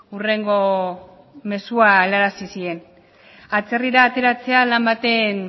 hurrengo mezua helarazi zien atzerrira ateratzea lan baten